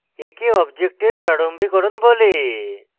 একে অবজেক্টের প্রারম্ভিকরণ বলে